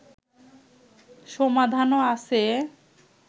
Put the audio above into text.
সমাধানও আছে